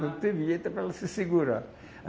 Não teve jeito para ela se segurar.